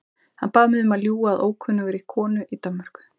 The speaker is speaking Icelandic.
Hann bað mig um að ljúga að ókunnugri konu í Danmörku.